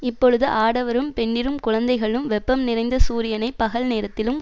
இப்பொழுது ஆடவரும் பெண்டிரும் குழந்தைகளும் வெப்பம் நிறைந்த சூரியனை பகல் நேரத்திலும்